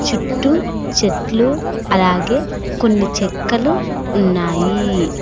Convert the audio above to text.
చుట్టూ చెట్లు అలాగే కొన్ని చెక్కలు ఉన్నాయి.